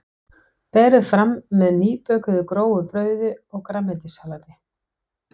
Berið fram með nýbökuðu grófu brauði og grænmetissalati.